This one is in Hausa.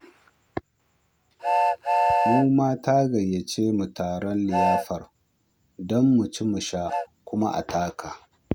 Mu ma ta gayyace mu taron liyafar don mu ci mu sha, kuma a taka